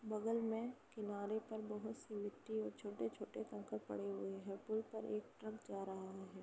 बगल में किनारे पर बहुत सी मिट्टी और छोटे-छोटे कंकड़ पड़े हुए है। पुल पर एक ट्रक जा रहा है।